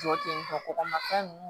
Jɔ ten tɔ kɔgɔmafɛn nunnu